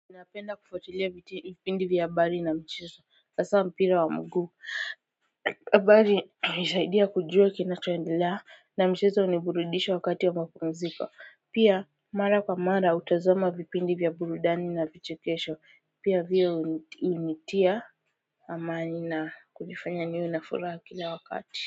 Unapenda kufuatilia vipindi vya habari na mchezo hasa mpira wa mguu, habari hunisaidia kujua kinacho endelea na mchezo huniburudisha wakati wa mapumziko, pia mara kwa mara hutazama vipindi vya burudani na vichekesho, pia hivyo hunitia amani na kunifanya niwe na furaha kila wakati.